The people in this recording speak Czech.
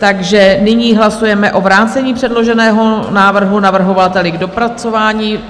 Takže nyní hlasujeme o vrácení předloženého návrhu navrhovateli k dopracování.